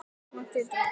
Þetta þýddi ekkert.